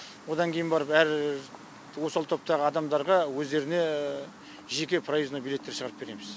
одан кейін барып әр осал топтағы адамдарға өздеріне жеке проездной билеттер шығарып береміз